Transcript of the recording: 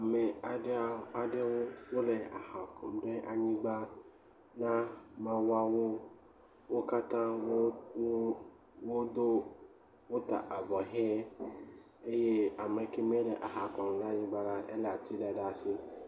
Ame aɖewo wole aha kɔm ɖe anyigba na mawuawo. Wo katã wota avɔ hĩ eye ame kemɛ le aha kɔm ɖe anyigba la elé ati ɖe asi.